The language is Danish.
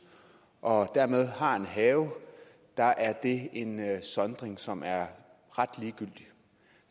og dermed har en have er er det en sondring som er ret ligegyldig